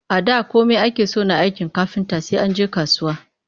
A da komai ake so na aikin kafinta sai an je kasuwa